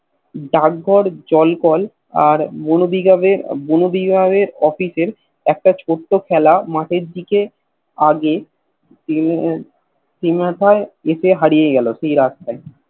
ডাক ঘর জল কল আর বনবিভাগের বনবিভাগের Office এ একটা ছোট্ট খেলা মাঠের দিকে আগে উম সে মাথায় হারিয়ে গেল সে রাস্তায়